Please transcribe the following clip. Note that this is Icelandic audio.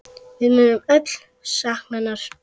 Við munum öll sakna hennar.